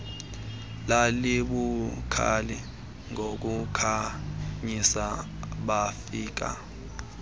lalibukhali ngokukhanyisa bafika